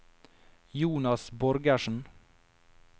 Jonas Borgersen